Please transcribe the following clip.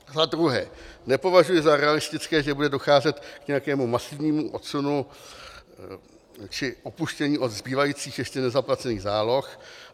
Za druhé, nepovažuji za realistické, že bude docházet k nějakému masivnímu odsunu či upuštění od zbývajících ještě nezaplacených záloh.